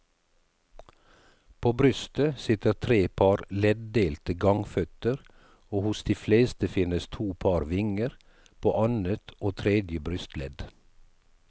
På brystet sitter tre par leddelte gangføtter og hos de fleste finnes to par vinger, på annet og tredje brystledd.